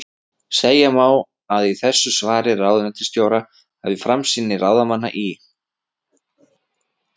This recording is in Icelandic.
Segja má að í þessu svari ráðuneytisstjóra hafi framsýni ráðamanna í